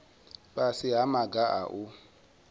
fhasi ha maga a u